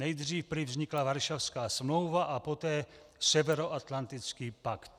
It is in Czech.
Nejdříve prý vznikla Varšavská smlouva a poté Severoatlantický pakt.